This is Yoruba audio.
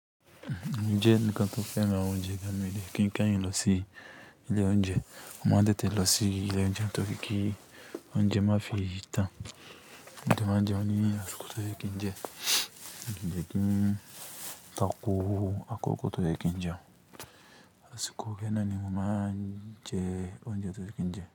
Mo ńjẹ́ ẹnìkan tó fẹ́ràn onjẹ gami lé ki ka yin lọsí lé onjẹ. Mo má té té lọsí lé onjẹ tó ki ki onjẹ mafi ìtàn. Mo dẹ̀ mo ńjẹ ní àsìkò tó yẹ kínjẹ. Mio kin ta ku àkókò tó yẹ kínjẹ. Àsìkò kaná ni mo má ńjẹ onjẹ tó yẹ kínjẹ.